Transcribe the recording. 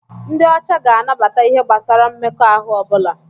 Ndị ọcha ga-anabata ihe gbasara mmekọahụ ọ bụla.